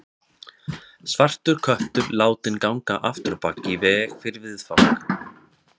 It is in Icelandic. Svartur köttur látinn ganga afturábak í veg fyrir viðfang.